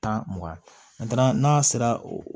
Tan mugan an taara n'a sera